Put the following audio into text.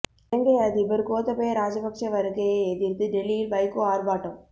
இலங்கை அதிபர் கோத்தபய ராஜபக்ச வருகையை எதிர்த்து டெல்லியில் வைகோ ஆர்ப்பாட்டம்